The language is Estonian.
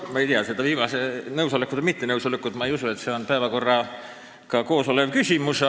Ma ei usu, et see viimane küsimus nõusoleku või mitte nõusoleku kohta on päevakorraga kooskõlas olev küsimus.